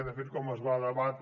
de fet com es va debatre